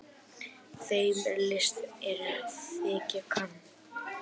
Þeim er list er þegja kann.